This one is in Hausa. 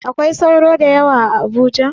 Akwai sauro da yawa a Abuja?